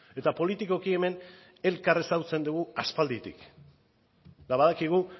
eta politikoki hemen elkar ezagutzen dugu aspalditik eta badakigu